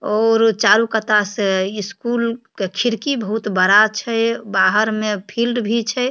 और चारू कता से स्कूल के खिड़की बहुत बड़ा छै बाहर में फील्ड भी छै।